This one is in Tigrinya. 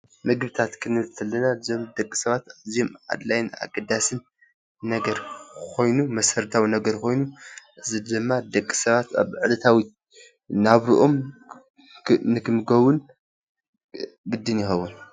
ምግብታት ክንብል ከለና እዞም ደቂሰባት አዝዮም ኣድላይን ኣገዳስን ነገር ኮይኑ መሰረታዊ ነገር ኮይኑ እዚ ድማ ደቂ ሰባት ኣብ ዕለታዊ ናብረኦም ንክምገቡን ግድን ይኸውን።